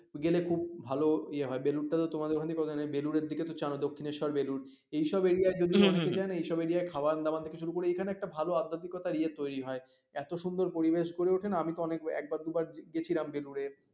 গেলে খুব ভালো ইয়ে হয় বেলুরটা তোমাদের ওখান থেকে কতখানি বেলুড়ের দিকে তো জানো দক্ষিণেশ্বর বেলুর এইসব area য় যদি কোন অসুবিধা নেই এইসব area য় খাওয়ার দাওয়া থেকে শুরু করে এখানে একটা ভালো আন্তরিকতার ইয়ে তৈরি হয় এত সুন্দর পরিবেশ গড়ে ওঠে না আমি তো অনেক বার একবার দুবার গেছিলাম বেলুড়ে